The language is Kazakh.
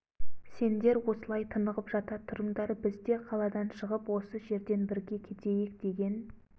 сендер осылай тынығып жата тұрыңдар біз де қаладан шығып осы жерден бірге кетейік деген